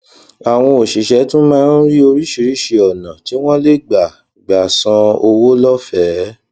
àwọn òṣìṣẹ tún máa ń rí oríṣiríṣi ònà tí wọn lè gbà gbà san owó lófèé